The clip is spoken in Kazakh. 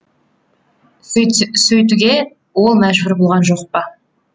сөйтуге ол мәжбүр болған жоқ па